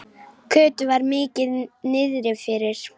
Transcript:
Kötu var mikið niðri fyrir.